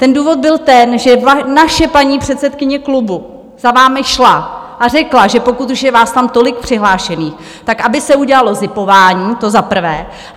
Ten důvod byl ten, že naše paní předsedkyně klubu za vámi šla a řekla, že pokud už je vás tam tolik přihlášených, tak aby se udělalo zipování, to za prvé.